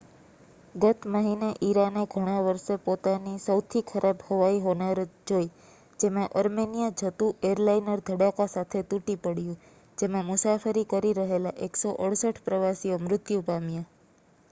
ગત મહિને ઇરાને ઘણાં વર્ષે પોતાની સૌથી ખરાબ હવાઈ હોનારત જોઈ જેમાં અર્મેનિયા જતું એરલાઇનર ધડાકા સાથે તૂટી પડ્યું જેમાં મુસાફરી કરી રહેલાં 168 પ્રવાસીઓ મૃત્યુ પામ્યા